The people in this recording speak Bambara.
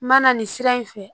N ma na nin sira in fɛ